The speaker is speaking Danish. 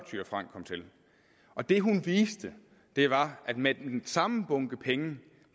thyra frank kom til og det hun viste var at man med den samme bunke penge